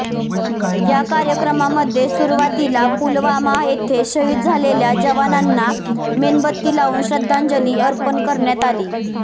या कार्यक्रमामध्ये सुरुवातीला पुलवामा येथे शहीद झालेल्या जवानांना मेणबत्ती लावून श्रद्धांजली अर्पण करण्यात आली